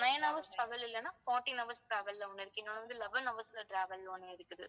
nine hours travel இல்லைன்னா fourteen hours travel ல ஒண்ணு இருக்கு இன்னொன்னு வந்து eleven hours ல travel ஒண்ணு இருக்குது.